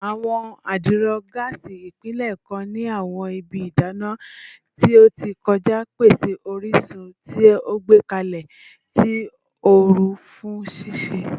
Awọn adiro gaasi, ipilẹ kan ni awọn ibi idana ti o ti kọja, pese orisun ti o gbẹkẹle ti ooru fun sise